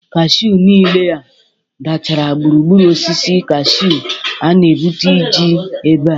Kashụ niile a dachara gburugburu osisi kashụ a na-ebute iiiji ebe.